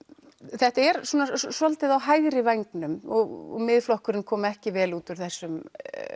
þetta er svolítið á hægri vængnum og Miðflokkurinn kom ekki vel út úr þessum